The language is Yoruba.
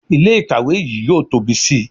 Ilé ìkàwé yìí yóò tóbi sí i